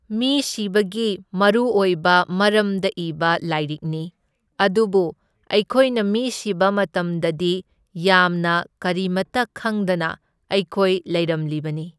ꯃꯤ ꯁꯤꯕꯒꯤ ꯃꯔꯨꯑꯣꯏꯕ ꯃꯔꯝꯗ ꯏꯕ ꯂꯥꯏꯔꯤꯛꯅꯤ, ꯑꯗꯨꯕꯨ ꯑꯩꯈꯣꯏꯅ ꯃꯤ ꯁꯤꯕ ꯃꯇꯝꯗꯗꯤ ꯌꯥꯝꯅ ꯀꯔꯤꯃꯇ ꯈꯪꯗꯅ ꯑꯩꯈꯣꯏ ꯂꯩꯔꯝꯂꯤꯕꯅꯤ꯫